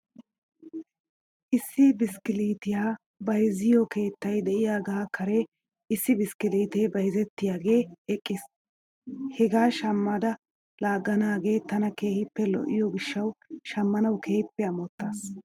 Issi biskiliitiyaa bayzziyoo keettay de'iyaagaa kare issi biskiliitee bayzettiyaagee eqqis. Hegaa shammada laaganaagee tana keehippe lo'iyoo gishshaw shamanaw keehippe amottas.